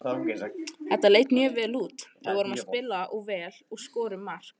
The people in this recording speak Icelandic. Þetta leit mjög vel út, við vorum að spila vel og skorum mark.